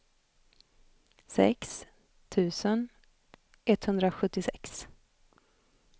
sex tusen etthundrasjuttiosex